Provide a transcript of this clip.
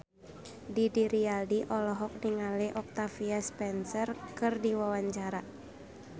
Didi Riyadi olohok ningali Octavia Spencer keur diwawancara